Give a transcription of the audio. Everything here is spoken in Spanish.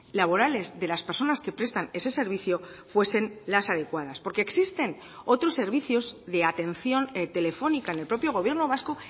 laborales de las personas que prestan ese servicio fuesen las adecuadas porque existen otros servicios de atención telefónica en el propio gobierno vasco